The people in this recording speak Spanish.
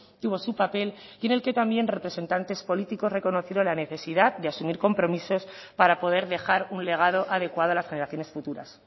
tuvo su papel y en el que también representantes políticos reconocieron la necesidad de asumir compromisos para poder dejar un legado adecuado a las generaciones futuras